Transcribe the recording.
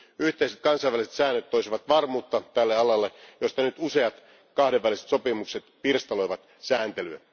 Yhteiset kansainväliset säännöt toisivat varmuutta tälle alalle, koska nyt useat kahdenväliset sopimukset pirstaloivat sääntelyä.